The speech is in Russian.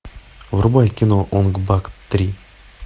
врубай кино онг бак три